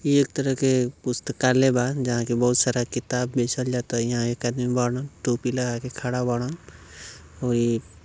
ई एक तरह के पुस्तकालय बा जहाँ कि बहुत सारा किताब बेचल जाता। यहाँ एक अदमी बाड़न टोपी लगा के खाड़ा बाड़ंन और ई--